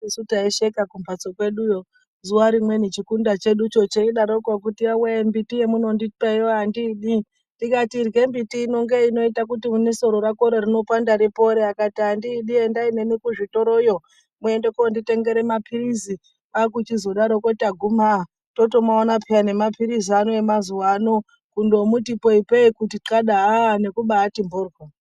Isu taisheka kumphatso kweduyo, zuwa rimweni chikunda cheducho cheidaroko, kuti yowee mumbuti yemuno ndipayo andidi , ndikati irye mbiti ino ngeinoite kuti nesoro rako rinopanda ripore, akati andiidi endayi neni kuzvitoroyo, muende koonditengera maphirizi. Kwaaku chizodaro taguma totomaona pheya nemaphirizi ona emazuwa ano, kundomuti ipei kuti kadwa, aah nekubaati mphoryo.